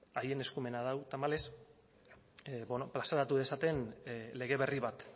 haien eskumenean du tamalez plazaratu dezaten lege berri bat